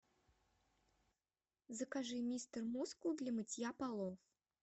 закажи мистер мускул для мытья полов